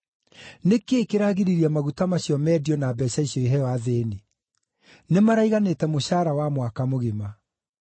“Nĩkĩ kĩragiririe maguta macio mendio na mbeeca icio iheo athĩĩni? Nĩmaraiganĩte mũcaara wa mwaka mũgima.”